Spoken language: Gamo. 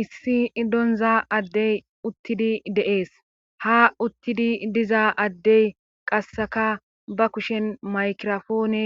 Issi idonza addey uttidi deees ha uttidi diza addey qasseka ba kushen maykirofoone